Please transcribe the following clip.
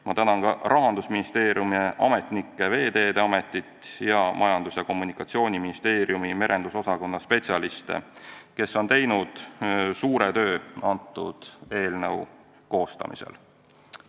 Ma tänan ka Rahandusministeeriumi ametnikke, Veeteede Ametit ning Majandus- ja Kommunikatsiooniministeeriumi merendusosakonna spetsialiste, kes on teinud suure töö eelnõu koostamisel.